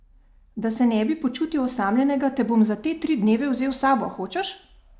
Da se ne bi počutil osamljenega, te bom za te tri dneve vzel s sabo, hočeš?